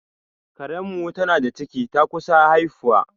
Karen mu tana da ciki, ta kusa haifuwa